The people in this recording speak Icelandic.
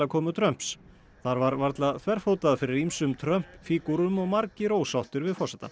komu Trumps þar var varla þverfótað fyrir ýmsum Trump fígúrum og margir ósáttir við forsetann